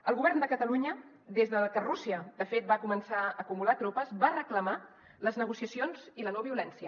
el govern de catalunya des de que rússia de fet va començar a acumular tropes va reclamar les negociacions i la no violència